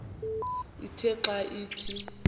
ithe xa ithi